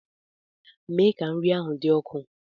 Mee ka nri ahụ dị ọkụ!